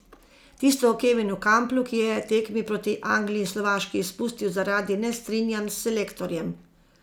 Tisto o Kevinu Kamplu, ki je tekmi proti Angliji in Slovaški izpustil zaradi nestrinjanj s selektorjem.